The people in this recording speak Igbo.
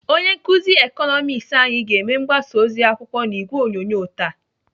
Onye nkụzi Ịkọnọmiks anyị ga-eme mgbasa ozi akwụkwọ n'ìgwè onyonyo taa.